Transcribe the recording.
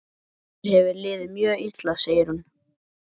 Mér hefur liðið mjög illa, segir hún.